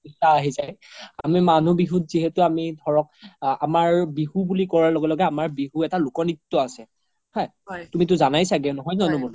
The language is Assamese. আমি মানুহ বিহু যিহেতু আমি ধৰক আমাৰ বিহু বুলি কুৱাৰ লগে লগে বিহু এটা লোক নিত্য আছে হা তুমিতো যানাই চাগে